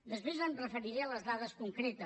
després em referiré a les dades concretes